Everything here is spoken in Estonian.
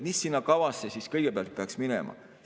Mis sinna kavasse kõigepealt peaks minema?